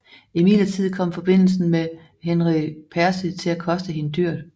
Imidlertid kom forbindelsen med Henry Percy til at koste hende dyrt